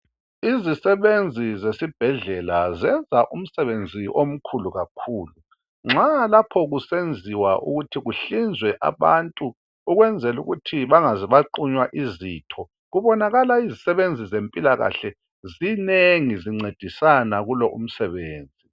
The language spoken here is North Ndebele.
Izisebenzi zesibhedlela zenza umsebenzi omkhulu kakhulu nxa lapho kusenziwa ukuthi kuhlinzwe abantu ukwenzela ukuthi bangaze baqunywa izitho. Kubonakala izisebenzi zimpilakahle zinengi zincedisana kulo umsebenzi